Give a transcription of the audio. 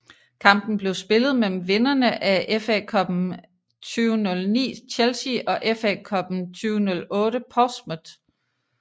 Kampen blev spillet mellem vinderne af FA Cuppen 2009 Chelsea og FA Cuppen 2008 Portsmouth